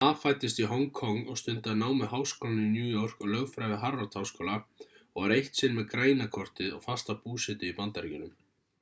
ma fæddist í hong kong og stundaði nám við háskólann í new york og lögfræði við harvard-háskóla og var eitt sinn með græna kortið og fasta búsetu í bandaríkjunum